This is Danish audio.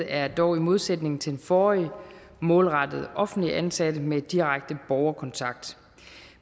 er dog i modsætning til det forrige målrettet offentligt ansatte med direkte borgerkontakt